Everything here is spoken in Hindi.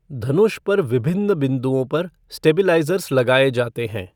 धनुष पर विभिन्न बिँदुओं पर स्टेबिलाइज़ेर्स लगाए जाते हैं।